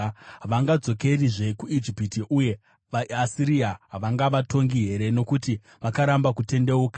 “Havangadzokerizve kuIjipiti uye vaAsiria havangavatongi here nokuti vakaramba kutendeuka?